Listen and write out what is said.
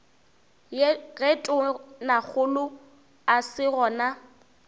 ge tonakgolo a se gona